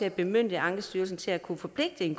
at bemyndige ankestyrelsen til at kunne forpligte en